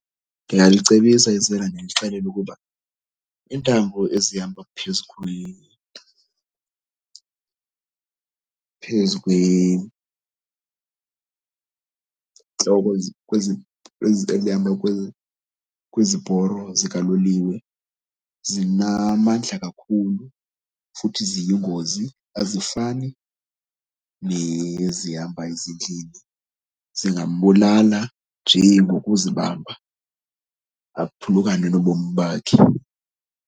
Ndingalicebisa isela ndilixelele ukuba iintambo ezihamba phezu ezihamba kwiziporlo zikaloliwe zinamandla kakhulu futhi ziyingozi, azifani nezihamba ezindlini. Zingambulala nje ngokuzibamba aphulukane nobomi bakhe.